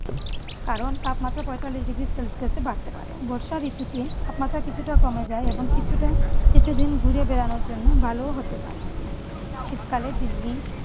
কারণ তাপমাত্রা পঁয়তাল্লিশ degree celcius ও বাড়তে পারে। বর্ষা ঋতুতে তাপমাত্রা কিছুটা কমে যায় এবংকিছুটা কিছুদিন ঘুরে বেড়ানোর জন্য ভালো হতে পারে। শীতকালে দিল্লি